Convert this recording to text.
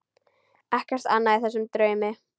Ekkert annað í þessum draumi.